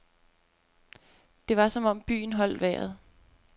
Det var som om byen holdt vejret.